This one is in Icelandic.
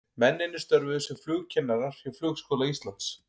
Mennirnir störfuðu sem flugkennarar hjá Flugskóla Íslands.